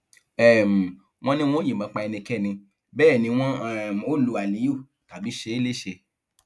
um wọn ní wọn ò yìnbọn pa ẹnikẹni bẹẹ ni wọn um ò lu aliyu tàbí ṣe é léṣe